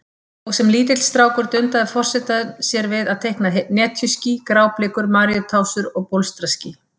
Og sem lítill strákur dundaði forsetinn sér við að teikna netjuský, gráblikur, maríutásur og bólstraský.